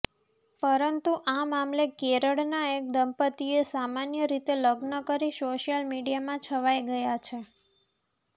પરંતુ આ મામલે કેરળના એક દંપત્તિએ સામાન્ય રીતે લગ્ન કરી સોશિયલ મીડિયામાં છવાઈ ગયા છે